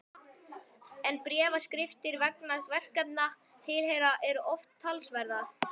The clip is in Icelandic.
En bréfaskriftir vegna verkefna tilheyra og eru oft talsverðar.